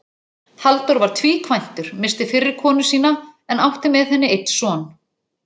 Halldór var tvíkvæntur, missti fyrri konu sína en átti með henni einn son.